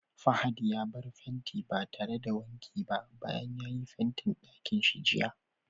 Fahad ya bar fenti ba tare da wanki ba bayan ya yi Fentin ɗakin shi jiya.